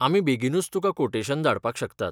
आमी बेगीनूच तुका कोटेशन धाडपाक शकतात.